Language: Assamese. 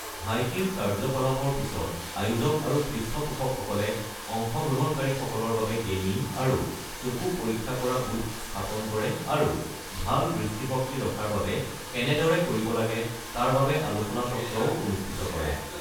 হাইকিং কাৰ্যকলাপৰ পিছত, আয়োজক আৰু পৃষ্ঠপোষকসকলে অংশগ্ৰহণকাৰীসকলৰ বাবে গেমিং আৰু চকু পৰীক্ষা কৰা বুথ স্থাপন কৰে আৰু ভাল দৃষ্টিশক্তি ৰখাৰ বাবে কেনেদৰে কৰিব লাগে তাৰ বাবে আলোচনা চক্ৰও অনুষ্ঠিত কৰে।